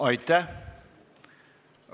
Aitäh!